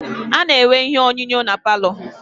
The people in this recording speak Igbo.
A na-enwe ihe onyonyo na paalọ.